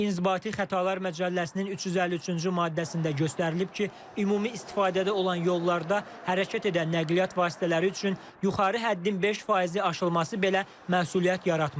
İnzibati Xətalar Məcəlləsinin 353-cü maddəsində göstərilib ki, ümumi istifadədə olan yollarda hərəkət edən nəqliyyat vasitələri üçün yuxarı həddin 5 faizi aşılması belə məsuliyyət yaratmır.